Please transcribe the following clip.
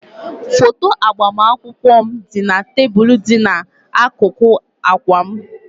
Foto agbamakwụkwọ m dị na tebụl dị n'akụkụ akwa m